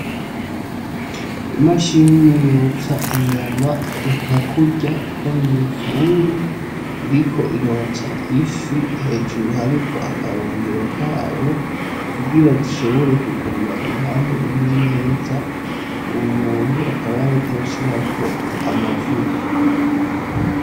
Imashiiyiniyotsa inyama nka kurya ko mwifuru iriko irotsa ifi hejuru hariko akayungiro kayo ukugira zishobore kuguma uruhande rumwe neza uwu muntu akaba yareka arashirako amavuta.